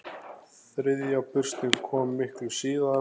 Þriðja burstin kom miklu síðar.